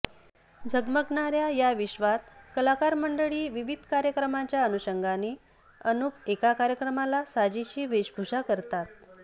झगमगणाऱ्या या विश्वात कलाकार मंडळी विविध कार्यक्रमांच्या अनुशंगाने अनुक एका कार्यक्रमाला साजेशी वेशभूषा करतात